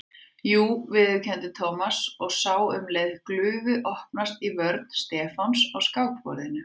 Jú viðurkenndi Thomas og sá um leið glufu opnast í vörn Stefáns á skákborðinu.